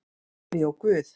Afi og Guð!